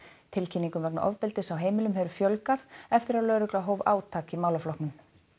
tilkynningum vegna ofbeldis á heimilum hefur fjölgað eftir að lögreglan hóf átak í málaflokknum